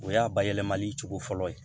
O y'a bayɛlɛmali cogo fɔlɔ ye